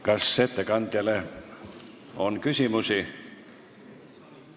Kas ettekandjale on küsimusi?